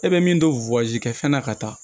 E bɛ min don kɛ fɛn na ka taa